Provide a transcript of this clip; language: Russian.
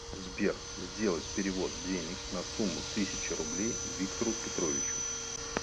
сбер сделать перевод денег на сумму тысяча рублей виктору петровичу